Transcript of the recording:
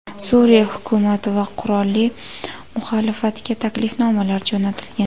Suriya hukumati va qurolli muxolifatga taklifnomalar jo‘natilgan.